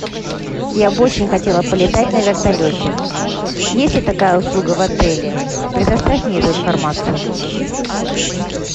я бы очень хотела полетать на вертолете есть ли такая услуга в отеле предоставь мне эту информацию